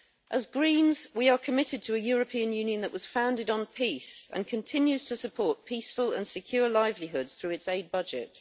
As Greens, we are committed to a European Union that was founded on peace and continues to support peaceful and secure livelihoods through its aid budget.